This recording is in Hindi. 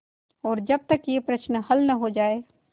और जब तक यह प्रश्न हल न हो जाय